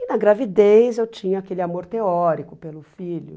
E na gravidez eu tinha aquele amor teórico pelo filho.